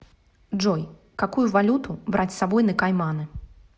джой какую валюту брать с собой на кайманы